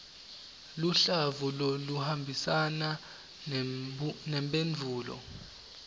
luhlavu loluhambisana nemphendvulo